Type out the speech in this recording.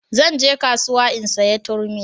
Zan je kasuwa in saya turmi